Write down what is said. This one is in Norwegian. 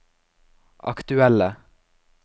aktuelle